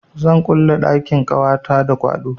Zan kulle ɗakin kwanata da kwaɗo.